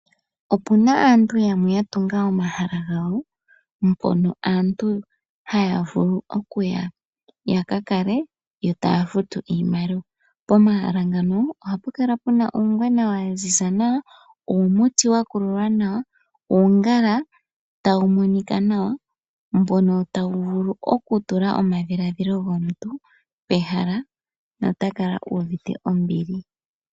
Opuna asntu yamwe ya tunga oma hala gawo, mpono aantu ha ya vulu oku ya, yo ta ya futu iimaliwa. Pomahala ngano, oha pu kala puna uungwena wa ziza, nawa uumuti wa kululwa nawa, uungala ta wu monika nawa, mbono ta wu vulu oku tula omadhiladhilo gomintu pehala nota kala uuvite ombili.